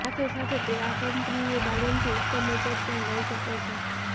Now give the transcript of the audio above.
સાથે સાથે તે આ કંપનીની તાલીમથી ઉત્તમ ઉપજ પણ લઈ શકે છે